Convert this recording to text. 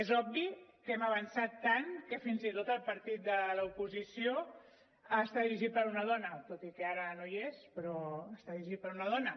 és obvi que hem avançat tant que fins i tot el partit de l’oposició està dirigit per una dona tot i que ara no hi és però està dirigit per una dona